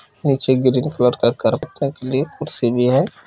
नीचे green colour का के लिए कुर्सी भी है।